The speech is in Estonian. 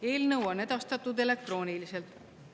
Eelnõu on edastatud elektrooniliselt.